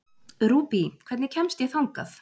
Rúbý, hvernig kemst ég þangað?